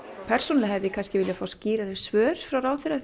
persónulega hefði ég kannski viljað fá skýrari svör frá ráðherra